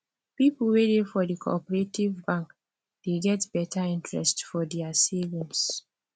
people wey dey for the cooperative bank dey get better interest for their savings